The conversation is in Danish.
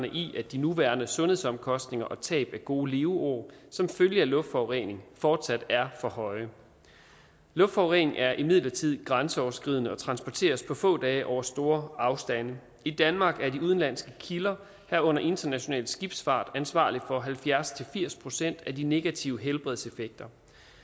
i at de nuværende sundhedsomkostninger og tab af gode leveår som følge af luftforurening fortsat er for høje luftforurening er imidlertid grænseoverskridende og transporteres på få dage over store afstande i danmark er de udenlandske kilder herunder international skibsfart ansvarlig for halvfjerds til firs procent af de negative helbredseffekter